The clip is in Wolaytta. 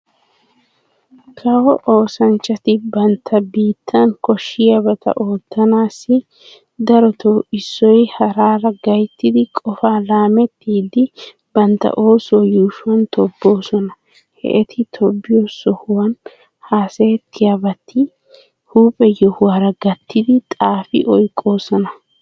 Kawo oosanchchati bantta biittan koshshiyaabata oottanaassi dorotoo issoy haara gayttidi qofaa laamettidi bantta oosuwa yuushuwan tobboosona. He eti tobbiyo sohuwan haasayettiyabata huuphe yehuwaara gattidi xaafi oyqqoosona.